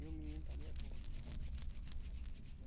E o menino também é bonzinho.